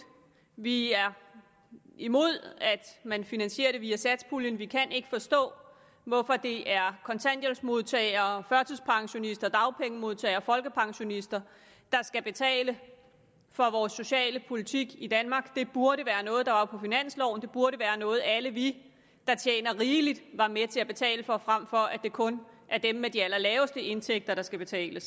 vi er imod at man finansierer det via satspuljen vi kan ikke forstå hvorfor det er kontanthjælpsmodtagere og førtidspensionister og dagpengemodtagere og folkepensionister der skal betale for vores socialpolitik i danmark det burde være noget der var på finansloven det burde være noget alle vi der tjener rigeligt var med til at betale for frem for at det kun er dem med de allerlaveste indtægter der skal betale